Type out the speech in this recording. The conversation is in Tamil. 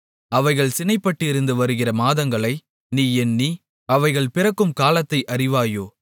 அவைகள் சினைப்பட்டிருந்து வருகிற மாதங்களை நீ எண்ணி அவைகள் பிறக்கும் காலத்தை அறிவாயோ